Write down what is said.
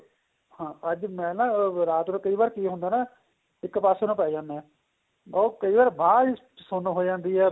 ਹਾਂ ਅੱਜ ਮੈਂ ਨਾ ਰਾਤ ਨੂੰ ਕਈ ਵਾਰ ਕੀ ਹੁੰਦਾ ਇੱਕ ਪਾਸੇਂ ਨੂੰ ਪੇਹ ਜਾਂਦੇ ਆਂ ਉਹ ਕਈ ਵਾਰ ਬਾਂਹ ਜੀ ਸੁੰਨ ਹੋ ਜਾਂਦੀ ਏ